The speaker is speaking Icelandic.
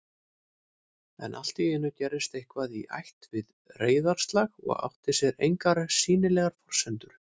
En alltíeinu gerðist eitthvað í ætt við reiðarslag og átti sér engar sýnilegar forsendur